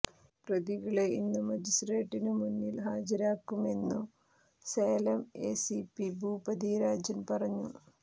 പ്രതികളെ ഇന്നു മജിസ്ട്രേട്ടിനു മുന്നിൽ ഹാജരാക്കുമെന്നു സേലം എസിപി ഭൂപതി രാജൻ പറഞ്ഞു